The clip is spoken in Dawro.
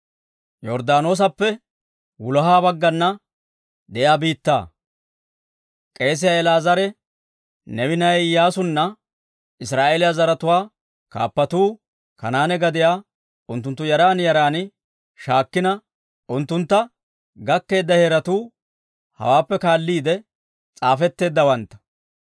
K'eesiyaa El"aazaare, Neewe na'ay Iyyaasunne Israa'eeliyaa zaratuwaa kaappatuu, Kanaane gadiyaa unttuntta yaran yaran shaakkina, unttunttu gakkeedda heeratuu hawaappe kaalliide s'aafetteeddawantta.